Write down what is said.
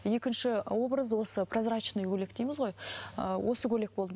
екінші образ осы прозрачный көйлек дейміз ғой ыыы осы көйлек болды